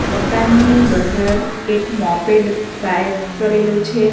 મકાનની બહાર એક મોપેડ પાયર્ક કરેલું છે.